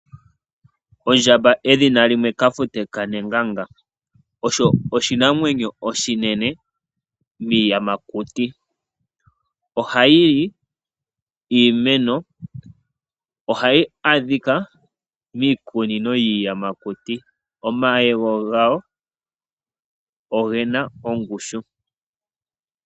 Ondjamba edhina limwe kafute kanenganga .Osho oshinamwenyo oshinene miiyamakuti. Ohayili iimeno . Ohayi adhika miikunino yiiyamakuti. Omayego gayo ogena ongushu.